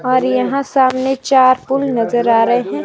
और यहां सामने चार पुल नजर आ रहे हैं।